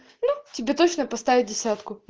ну тебе точно поставит десятку